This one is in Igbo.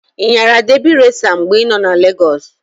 I nyara debi resa mgbe i nọ Lagọs?